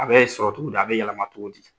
A bɛ sɔrɔ cogo di a bɛ yɛlɛma cogo di?